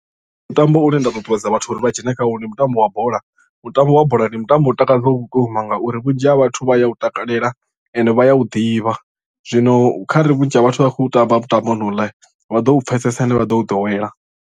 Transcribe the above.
Mutambo u ne nda ṱuṱuwedza vhathu uri vha dzhene kha wo ndi mutambo wa bola mutambo wa bola ndi mutambo u takadza vhukuma ngauri vhunzhi ha vhathu vha ya u takalela and vha ya u ḓivha zwino kharali vhunzhi ha vhathu vha khou tamba mutambo honouḽa vha ḓo u pfhesesa ende vha ḓo u ḓowela.